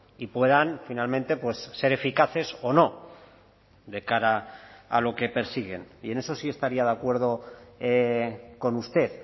y puedan finalmente ser eficaces o no de cara a lo que persiguen y en eso sí estaría de acuerdo con usted